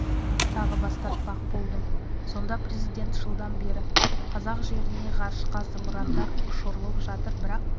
тағы бас тартпақ болдым сонда президент жылдан бері қазақ жерінен ғарышқа зымырандар ұшырылып жатыр бірақ